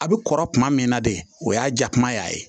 A bɛ kɔrɔ kuma min na de o y'a jakuma y'a ye